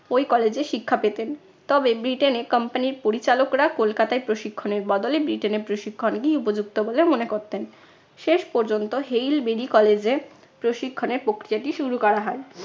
ওই college এ শিক্ষা পেতেন। তবে ব্রিটেনে copmany র পরিচালকরা কলকাতায় প্রশিক্ষণের বদলে ব্রিটেনে প্রশিক্ষণকেই উপযুক্ত বলে মনে করতেন। শেষ পর্যন্ত হেইল বিডি college এ প্রশিক্ষণের প্রক্রিয়াটি শুরু করা হয়।